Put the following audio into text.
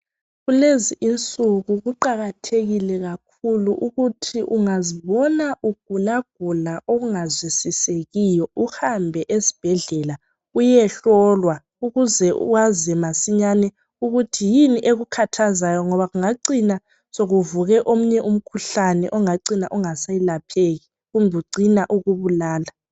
Kulezi insuku kuqakathekile ukuthi ungazibona ugula gula okungazwisisekiyo uhambe esibhedlela uyehlolwa ukuze wazi masinyane ukuthi ekukhathazayo ngoba kungacina sekuvuke omunye umkhuhlane ongacina ungaselapheki kumbe ucine ukubulala